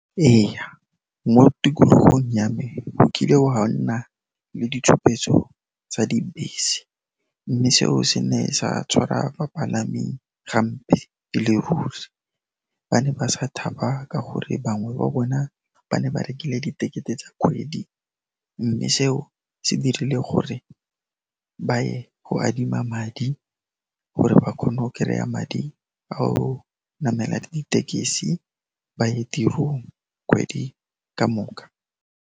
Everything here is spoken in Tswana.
Eya, mo tikologong ya me ho kile hwa nna le ditshupetso tsa dibese, mme seo se ne sa tshwara bapalami gampe e le ruri. Ba ne ba sa thaba ka gore bangwe ba bona ba ne ba rekile diketekete tsa kgwedi, mme seo se dirile gore ba ye go adima madi gore ba kgon'o kereya madi a go namela ditekesi, ba ye tirong kgwedi ka moka.